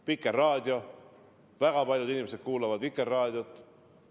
Vikerraadio – väga paljud inimesed kuulavad Vikerraadiot.